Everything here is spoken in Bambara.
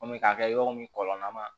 Kɔmi k'a kɛ yɔrɔ min kɔlɔlɔ ma